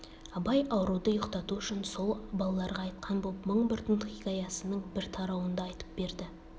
абай ауруды ұйқтату үшін сол балаларға айтқан боп мың бір түн хикаясының бір тарауын да айтып берді